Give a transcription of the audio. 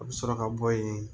A bɛ sɔrɔ ka bɔ yen